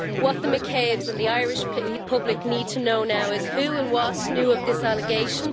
What the McCabes and the Irish public need to know now is who and what knew of this allegation.